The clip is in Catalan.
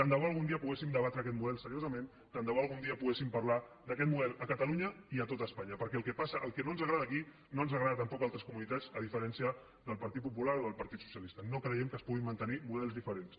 tant de bo algun dia poguéssim debatre aquest model seriosament tant de bo algun dia poguéssim parlar d’aquest model a catalunya i a tot espanya perquè el que no ens agrada aquí no ens agrada tampoc a altres comunitats a diferència del partit popular o del partit socialista no creiem que es puguin mantenir models diferents